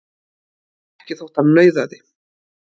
Ekki þótt hann nauðaði.